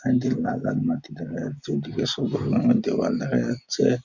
একদিকে লাল লাল মাটি দেখা যাচ্ছে ওদিকে সবুজ রঙের দেওয়াল দেখা যাচ্ছে।